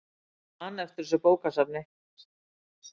Hann man eftir þessu bókasafni.